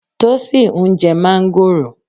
Tósìn ń jẹ́ máńgòrò.